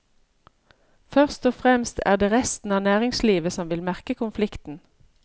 Først og fremst er det resten av næringslivet som vil merke konflikten.